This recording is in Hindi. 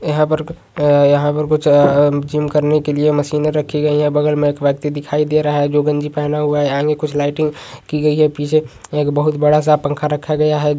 यहां पर यहां पर कुछ अ जिम करने के लिए मशीनें रखी गई हैं। बगल में एक व्यक्ति दिखाई दे रहा है जो गंजी पहने हुआ है। आगे कुछ लाइटिंग की गई है। पीछे एक बहुत बड़ा सा पंखा रखा गया है।